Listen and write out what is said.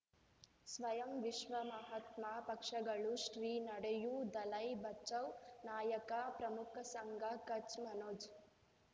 ಸ್ವಯಂ ವಿಶ್ವ ಮಹಾತ್ಮ ಪಕ್ಷಗಳು ಶ್ರೀ ನಡೆಯೂ ದಲೈ ಬಚೌ ನಾಯಕ ಪ್ರಮುಖ ಸಂಘ ಕಚ್ ಮನೋಜ್